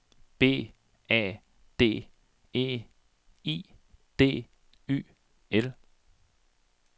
B A D E I D Y L